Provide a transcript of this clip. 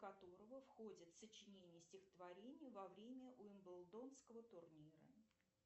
которого входит сочинение стихотворений во время уимблдонского турнира